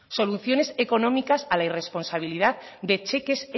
soluciones económicas a la irresponsabilidad de cheques